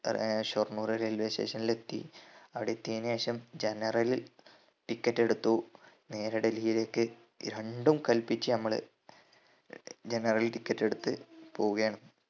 ഏർ Shoranur railway station നിൽ എത്തി അവിടെ എത്തിയതിനു ശേഷം generalticket എടുത്തു നേരെ ഡൽഹിയിലേക്ക് രണ്ടും കൽപ്പിച്ച് ഞമ്മള് general ticket എടുത്ത് പോവുകയാണ്